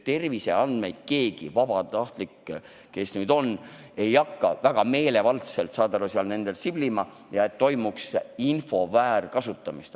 Terviseandmetes ei hakka ükski vabatahtlik väga meelevaldselt siblima ja ei hakka toimuma info väärkasutamist.